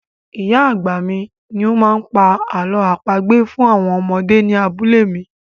Ì̀yá àgbà mi ni ó máa ń pa àlọ́ àpagbè fún àwọn ọmọdé ní abúlé mi.